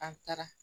An taara